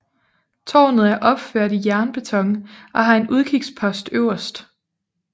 Tårnet er opført i jernbeton og har en udkigspost øverst